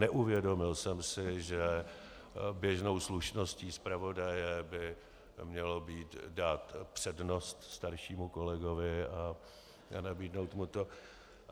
Neuvědomil jsem si, že běžnou slušností zpravodaje by mělo být dát přednost staršímu kolegovi a nabídnout mu to.